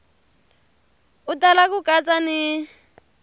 u tala ku katsa ni